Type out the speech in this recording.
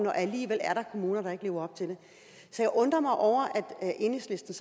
er alligevel kommuner der ikke lever op til det så jeg undrer mig over at enhedslisten